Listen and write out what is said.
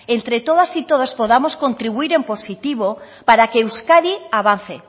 entre todos y todas podamos contribuir en positivo para que euskadi avance